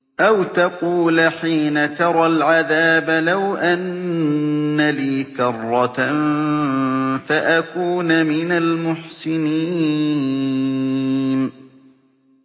أَوْ تَقُولَ حِينَ تَرَى الْعَذَابَ لَوْ أَنَّ لِي كَرَّةً فَأَكُونَ مِنَ الْمُحْسِنِينَ